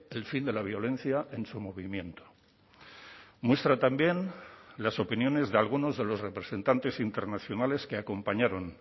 el fin de la violencia en su movimiento muestra también las opiniones de algunos de los representantes internacionales que acompañaron